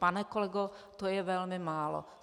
Pane kolego, to je velmi málo!